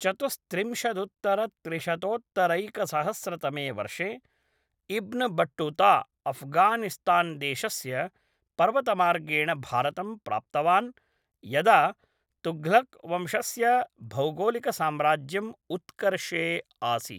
चतुस्त्रिंशदुत्तरत्रिशतोत्तरैकसहस्रतमे वर्षे Ibn Battuta अफ़्घानिस्तान्देशस्य पर्वतमार्गेण भारतं प्राप्तवान् यदा तुघ्लक्वंशस्य भौगोलिकसाम्राज्यम् उत्कर्षे आसीत्।